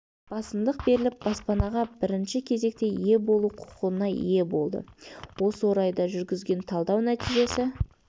басымдық беріліп баспанаға бірінші кезекте ие болу құқығына ие болды осы орайда жүргізген талдау нәтижесі